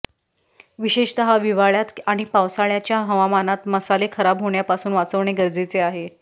विशेषतः हिवाळ्यात आणि पावसाळ्याच्या हवामानात मसाले खराब होण्यापासून वाचवणे गरजेचे आहे